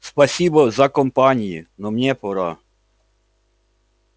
спасибо за компании но мне пора